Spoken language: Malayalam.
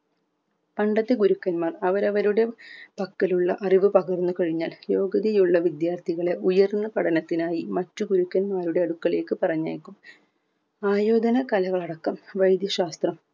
പണ്ടത്തെ ഗുരുക്കന്മാർ അവരവരുടെ പക്കലുള്ള അറിവ് പകർന്ന് കഴിഞ്ഞാൽ യോഗ്യതിയുള്ള വിദ്യാർത്ഥികളെ ഉയർന്ന പഠനത്തിനായി മറ്റു ഗുരുക്കന്മാരുടെ അടുക്കലേക്ക് പറഞ്ഞയക്കും ആയുധന കലകളടക്കം വൈദ്യശാസ്ത്രം